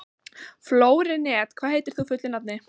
Flórent, hvað heitir þú fullu nafni?